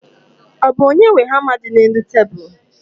Ọ bụ onye nwe hama dị n'elu tebulu?